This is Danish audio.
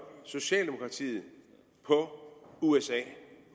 socialdemokratiet på usa